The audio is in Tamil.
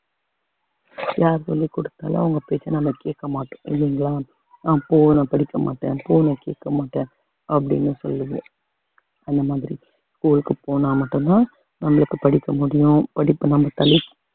யார் சொல்லிக் கொடுத்தாலும் அவங்க பேச்ச நம்ம கேட்க மாட்டோம் இல்லைங்களா ஆஹ் போ நான் படிக்க மாட்டேன் போ நான் கேட்க மாட்டேன் அப்படின்னு சொல்லுது அந்த மாதிரி school க்கு போனா மட்டும்தான் நம்மளுக்கு படிக்க முடியும் படிப்பு நம்ம தலைக்~